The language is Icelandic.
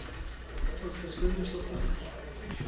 Þórdís Gunnlaugsdóttir, hætt